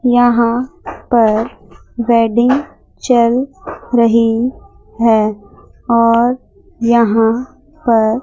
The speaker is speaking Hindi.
यहां पर वेडिंग चल रही है और यहां पर--